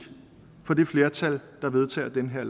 for det flertal der vedtager det her